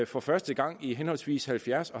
for første gang i henholdsvis halvfjerds